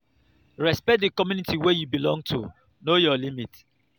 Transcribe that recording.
respect di community wey you belong to know your limit